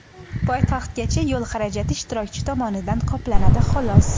Poytaxtgacha yo‘l xarajati ishtirokchi tomonidan qoplanadi xolos.